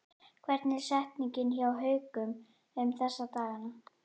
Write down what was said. Hvernig er stemningin hjá Haukum um þessa dagana?